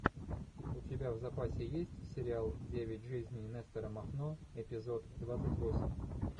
у тебя в запасе есть сериал девять жизней нестора махно эпизод двадцать восемь